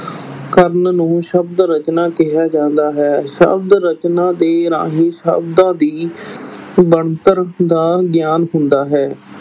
ਕਰਨ ਨੂੰ ਸ਼ਬਦ ਰਚਨਾ ਕਿਹਾ ਜਾਂਦਾ ਹੈ, ਸ਼ਬਦ ਰਚਨਾ ਦੇ ਰਾਹੀਂ ਸ਼ਬਦਾਂ ਦੀ ਬਣਤਰ ਦਾ ਗਿਆਨ ਹੁੰਦਾ ਹੈ।